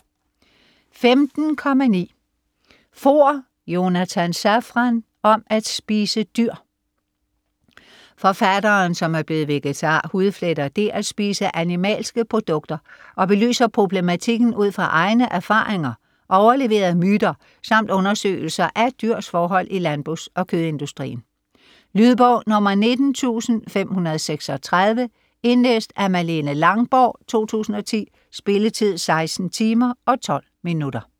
15.9 Foer, Jonathan Safran: Om at spise dyr Forfatteren, som er blevet vegetar, hudfletter det at spise animalske produkter og belyser problematikken ud fra egne erfaringer, overleverede myter samt undersøgelser af dyrs forhold i landbrugs- og kødindustrien. Lydbog 19536 Indlæst af Malene Langborg, 2010. Spilletid: 16 timer, 12 minutter.